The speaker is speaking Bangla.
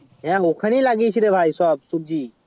হ্যাঁ ওখানে লাগিয়েছি সব সবজি